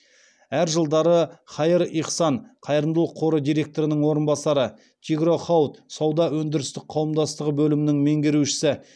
әр жылдары хаир ихсан қайырымдылық қоры директорының орынбасары тигро хауд сауда өндірістік қауымдастығы бөлімінің меңгерушісі